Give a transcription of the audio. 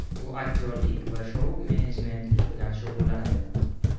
U aktyorlik va shou menejmentlik bilan shug‘ullanadi.